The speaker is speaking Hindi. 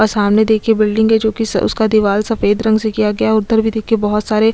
और सामने देखिए बिल्डिंग है जो कि स उसका दीवाल सफेद रंग से किया गया है उधर भी देखिए बहुत सारे--